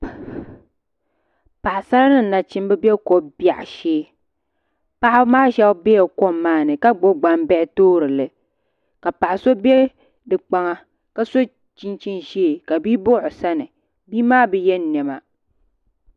Paɣasara ni nachimbi bɛ ko biɛɣu shee paɣaba maa shab biɛla kom maa ni ka gbubi gbambihi toori li ka paɣa so bɛ kpaŋa ka so chinchini ʒiɛ ka bia baɣa o sani bia maa bi yɛ niɛma